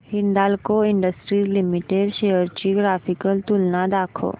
Hindalco industries limited shares ची graphical तुलना दाखव